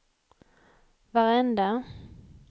varenda